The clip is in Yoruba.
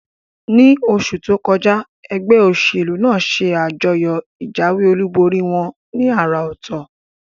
Ní osù tókọjá, egbé òsèlú nàá se àjọyò ìjáwé olúborí wón ní àrà òtò